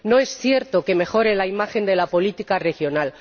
No es cierto que mejore la imagen de la política regional